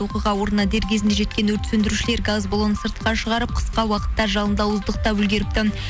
оқиға орнына дер кезінде жеткен өрт сөндірушілер газ балонын сыртқа шығарып қысқа уақытта жалынды ауыздықтап үлгеріпті